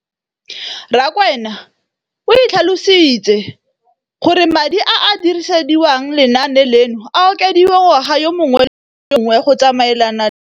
Rakwena o tlhalositse gore madi a a dirisediwang lenaane leno a okediwa ngwaga yo mongwe le yo mongwe go tsamaelana le